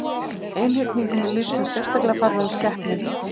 Einhyrningum er lýst sem sérstaklega fallegum skepnum.